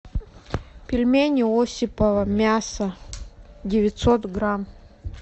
пельмени осипово мясо девятьсот грамм